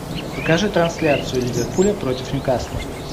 покажи трансляцию ливерпуля против ньюкасла